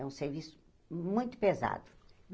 É um serviço muito pesado.